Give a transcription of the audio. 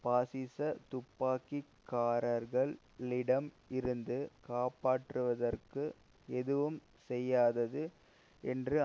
பாசிச துப்பாக்கிக்காரர்களிடமிருந்து காப்பாற்றுவதற்கு எதுவும் செய்யாதது என்று